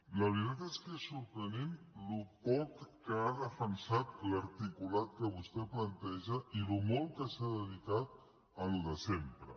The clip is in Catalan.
la veritat és que és sorprenent el poc que ha defensat l’articulat que vostè planteja i el molt que s’ha dedicat al de sempre